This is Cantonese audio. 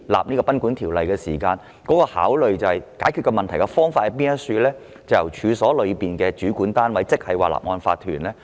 根據《條例》的立法原意，解決問題的王道方法，是由處所的主管單位執行大廈公契。